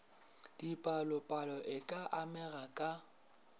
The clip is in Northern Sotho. dipalopalo e ka amega ka